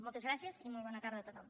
moltes gràcies i molt bona tarda a tothom